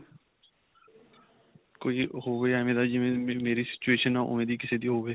ਕੋਈ ਹੋਵੇ ਐਂਵੇਂ ਦਾ ਜਿਵੇਂ ਦੀ ਮੈਮੈ ਮੇਰੀ situation ਹੈ. ਓਨ੍ਵੇਂ ਦੀ ਕਿਸੇ ਦੀ ਹੋਵੇ .